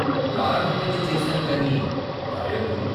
ప్రారంభమైతే చేశాను కాని రాయొద్దు?